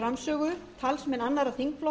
frú forseti ég vil byrja á